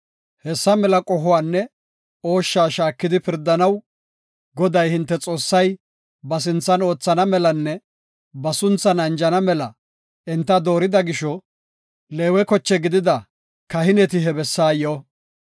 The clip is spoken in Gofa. Hessa mela qohuwanne ooshsha shaakidi pirdanaw Goday, hinte Xoossay ba sinthan oothana melanne ba sunthan anjana mela enta doorida gisho, Leewe koche gidida kahineti he bessaa boo.